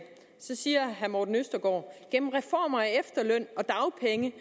siger herre morten østergaard gennem reformer af efterløn og dagpenge